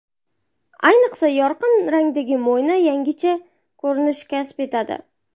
Ayniqsa, yorqin rangdagi mo‘yna yangicha ko‘rinish kasb etadi.